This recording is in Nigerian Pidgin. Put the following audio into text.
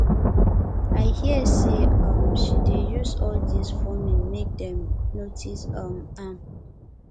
i hear say um she dey do all dis forming make dem notice um am